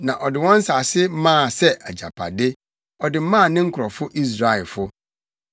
na ɔde wɔn nsase maa sɛ agyapade ɔde maa ne nkurɔfo Israelfo.